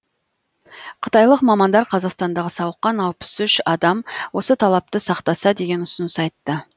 қытайлық мамандар қазақстандағы сауыққан алпыс үш адам осы талапты сақтаса деген ұсыныс айтты